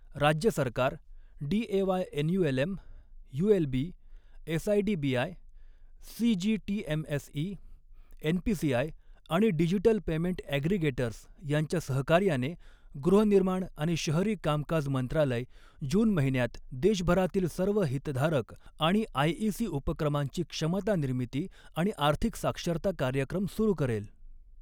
राज्य सरकार, DAY NULM, ULB, SIDBI, CGTMSE, NPCI आणि डिजिटल पेमेंट ऍग्रीगेटर्स यांच्या सहकार्याने गृह निर्माण आणि शहरी कामकाज मंत्रालय जून महिन्यात देशभरातील सर्व हितधारक आणि आयईसी उपक्रमांची क्षमता निर्मिती आणि आर्थिक साक्षरता कार्यक्रम सुरू करेल.